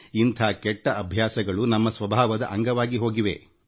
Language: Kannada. ಈ ಕೆಟ್ಟ ಅಭ್ಯಾಸಗಳು ನಮ್ಮ ನಮ್ಮ ಸ್ವಭಾವದ ಭಾಗವಾಗಿ ಹೋಗಿವೆ